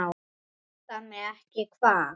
Vantar mig ekki hvað?